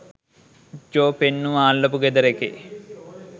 ජෝ පෙන්නුවා අල්ලපු ගෙදර එකේ